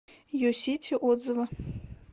юсити отзывы